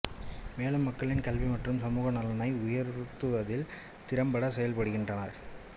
மேலும் மக்களின் கல்வி மற்றும் சமூக நலனை உயர்த்துவதில் திறம்பட செயல்படுகின்றன